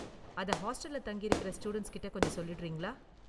அதை ஹாஸ்டல்ல தங்கியிருக்கற ஸ்டூடண்ட்ஸ் கிட்ட கொஞ்சம் சொல்லிடுறீங்களா?